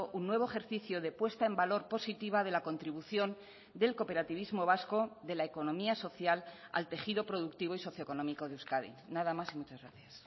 un nuevo ejercicio de puesta en valor positiva de la contribución del cooperativismo vasco de la economía social al tejido productivo y socio económico de euskadi nada más y muchas gracias